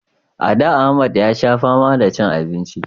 A da Ahmad ya sha fama da cin abinci